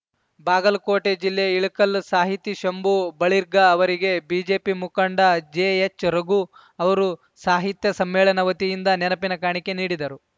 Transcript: ಬಾಗಲಕೋಟೆ ಜಿಲ್ಲೆ ಇಳಕಲ್‌ನ ಸಾಹಿತಿ ಶಂಭು ಬಳಿರ್ಗಾ ಅವರಿಗೆ ಬಿಜೆಪಿ ಮುಖಂಡ ಜೆಎಚ್‌ ರಘು ಅವರು ಸಾಹಿತ್ಯ ಸಮ್ಮೇಳನ ವತಿಯಿಂದ ನೆನಪಿನ ಕಾಣಿಕೆ ನೀಡಿದರು